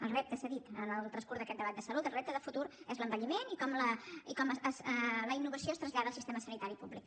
el repte s’ha dit en el transcurs d’aquest debat de salut el repte de futur és l’envelliment i com la innovació es trasllada al sistema sanitari públic